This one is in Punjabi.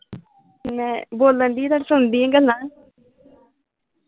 ਮੈਂ ਬੋਲਣ ਦੀ ਤੁਹਾਡੀ ਸੁਣਦੀਆਂ ਗੱਲਾਂ